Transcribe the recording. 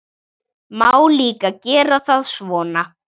Má líka gera það svona